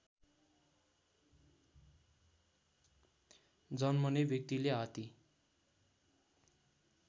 जन्मने व्यक्तिले हात्ती